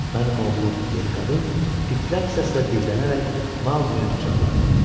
Mənim oğlum, deyə qadın titrək səslə dillənərək Maqlini qucaqladı.